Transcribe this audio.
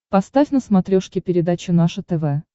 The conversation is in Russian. поставь на смотрешке передачу наше тв